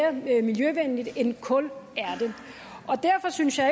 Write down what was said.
er mere miljøvenligt end kul er og derfor synes jeg